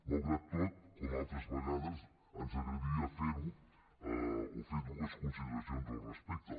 malgrat tot com altres vegades ens agradaria fer dues consideracions al respecte